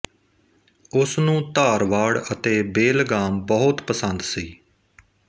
ਉਸ ਨੂੰ ਧਾਰਵਾੜ ਅਤੇ ਬੇਲਗਾਮ ਬਹੁਤ ਪਸੰਦ ਸੀ